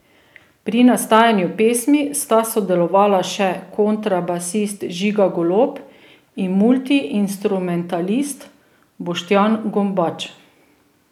Pri nastajanju pesmi sta sodelovala še kontrabasist Žiga Golob in multiinstrumentalist Boštjan Gombač.